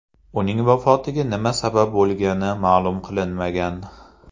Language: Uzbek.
Uning vafotiga nima sabab bo‘lgani ma’lum qilinmagan.